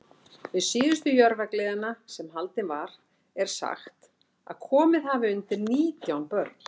Við síðustu Jörfagleðina, sem haldin var, er sagt, að komið hafi undir nítján börn.